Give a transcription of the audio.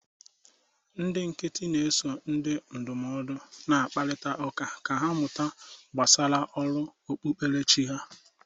Ndị nkịtị na-eso ndị ndụmọdụ na-akparịta ụka ka ha mụta gbasara ọrụ okpukperechi ha